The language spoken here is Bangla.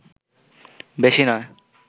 বেশি নয়